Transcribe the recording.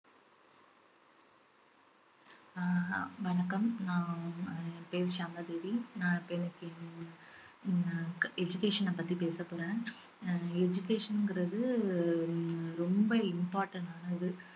அஹ் வணக்கம் நான் என் பெயர் சியாமளாதேவி நான் இப்ப இன்னைக்கு அஹ் education அ பத்தி பேசப் போறேன் ஹம் education ங்கிறது ஹம் ரொம்ப important ஆனது